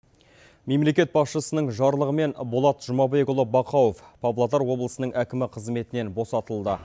мемлекет басшысының жарлығымен болат жұмабекұлы бақауов павлодар облысының әкімі қызметінен босатылды